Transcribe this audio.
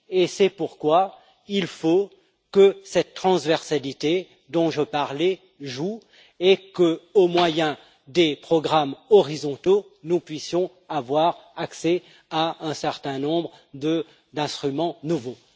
C'est pourquoi il faut que cette transversalité dont je parlais joue et qu'au moyen des programmes horizontaux, nous puissions avoir accès à un certain nombre d'instruments nouveaux.